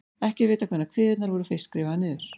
Ekki er vitað hvenær kviðurnar voru fyrst skrifaðar niður.